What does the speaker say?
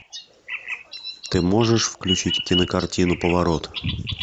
ты можешь включить кинокартину поворот